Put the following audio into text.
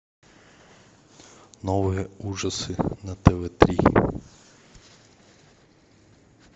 новые ужасы на тв три